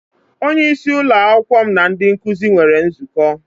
Onye isí ụlọ akwụkwọ m na ndị nkụzi nwere nzukọ.